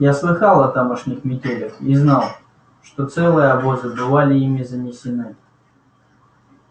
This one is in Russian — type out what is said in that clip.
я слыхал о тамошних метелях и знал что целые обозы бывали ими занесены